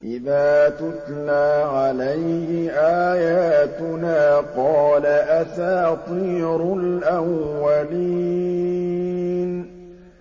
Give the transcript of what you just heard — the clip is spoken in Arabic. إِذَا تُتْلَىٰ عَلَيْهِ آيَاتُنَا قَالَ أَسَاطِيرُ الْأَوَّلِينَ